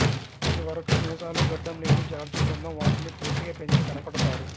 అది వరకు మీసాలు గడ్డం లేని జార్జి బృందం వాటిని పూర్తిగా పెంచి కనబడతారు